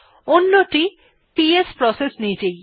অন্যটি PS process নিজেই